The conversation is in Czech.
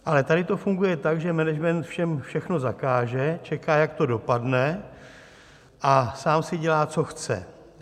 Ale tady to funguje tak, že management všem všechno zakáže, čeká, jak to dopadne, a sám si dělá, co chce.